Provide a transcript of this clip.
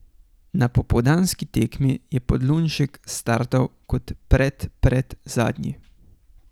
Na popoldanski tekmi je Podlunšek startal kot predpredzadnji.